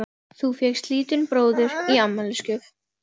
Þú fékkst lítinn bróður í afmælisgjöf.